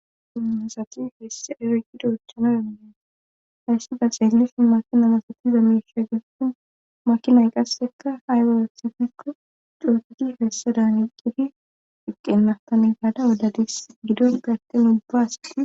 sinasati hesse eregida uchana dananei hayssada xeelishi makinalasatiza miisha gessun makinay qassekka haywawethifikko cooxudi hessa dan iqqifi iqqenatane gaada wodadis gido getten ubbaasi